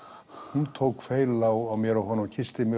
hún tók feil á mér og honum kyssti mig